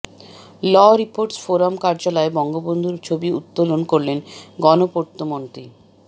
ল reporters forum কার্যালয়ে বঙ্গবন্ধুর ছবি উত্তোলন করলেন গণপূর্তমন্ত্রী